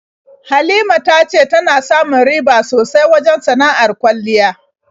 Halima ta ce tana samu riba sosai wajen sana'ar kwalliya.